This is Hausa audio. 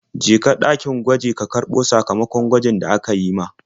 Je ka ɗakin gwaji ka karɓo sakamakon gwajin da aka yi ma.